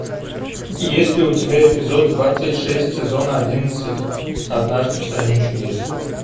есть ли у тебя эпизод двадцать шесть сезона одиннадцать однажды в стране чудес